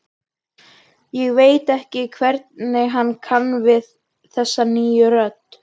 Ég veit ekki hvernig ég kann við þessa nýju rödd.